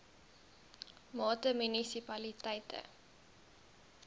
mate munisipaliteite a